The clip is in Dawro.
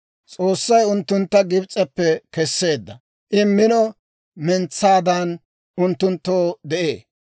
S'oossay unttuntta Gibs'eppe kesseedda; I mino mentsaadan unttunttoo de'ee.